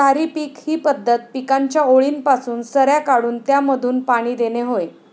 सारी पीक पद्धत ही पिकांच्या ओळींपासून सऱ्या काढून त्यामधून पाणी देणे होय.